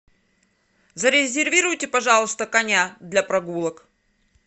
зарезервируйте пожалуйста коня для прогулок